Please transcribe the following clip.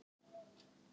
Fór hann þá einn?